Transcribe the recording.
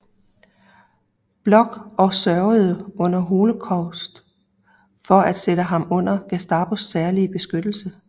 Bloch og sørgede under holocaust for at sætte ham under Gestapos særlige beskyttelse